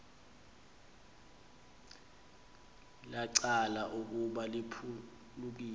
lacaca ukuba liphulukiwe